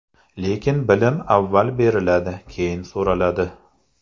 Lekin bilim avval beriladi, keyin so‘raladi.